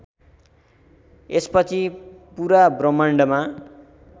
यसपछि पूरा ब्रह्माण्डमा